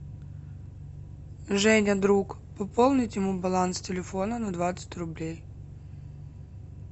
женя друг пополнить ему баланс телефона на двадцать рублей